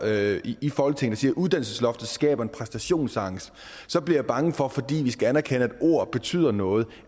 her i folketinget og siger at uddannelsesloftet skaber en præstationsangst så bliver jeg bange for fordi vi skal anerkende at ord betyder noget